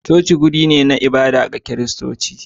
coci wuri ne na ibada ga Kiristoci.